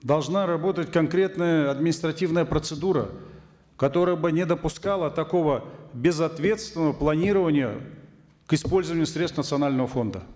должна работать конкретная административная процедура которая бы не допускала такого безответственного планирования к использованию средств национального фонда